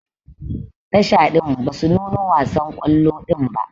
Tasha din basu nuno wasan kwallo din ba.